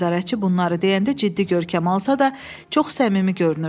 Nəzarətçi bunları deyəndə ciddi görkəm alsa da, çox səmimi görünürdü.